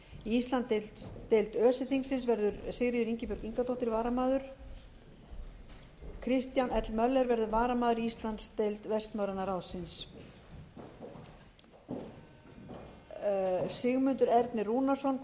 íslandsdeild öse þingsins verður sigríður ingibjörg ingadóttir varamaður kristján l möller verður varamaður í íslandsdeild vestnorræna ráðsins sigmundur ernir rúnarsson